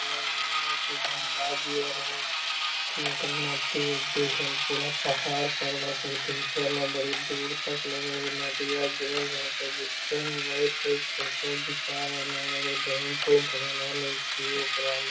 लग रहलो की गंगा जी आर होअ केहूं के नदी उदि होअ पूरा पहाड़ पर्वत भी दिख रहलो ये बड़ी दूर तक लगे हेय नदिया गेल हेय ओकर बीचो में बैठ के इ फोटो घीचा रहले हेय लगे हेय डेंप उम्प बनल हेय की ऊपरा मे।